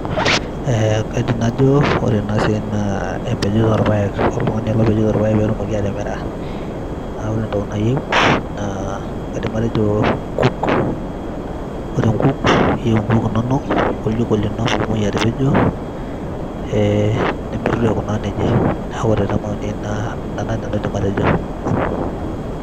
E kaidim najo ore ena sia na empejoto orpaek, oltungani ele opejito irpaek petumoki atimira na ore entoki nayieu naa kaidim atejo nkuk, ore nkuk inonok orjiko lino e nipej aikunaa nejia neaku ore na ina entoki naidim atejo.